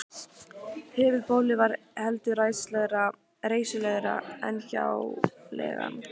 Höfuðbólið var heldur reisulegra en hjáleigan.